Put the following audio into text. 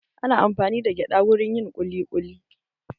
Ana amfani da gyada wurin yin kuli kuli